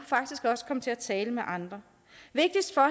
faktisk også komme til at tale med andre vigtigst for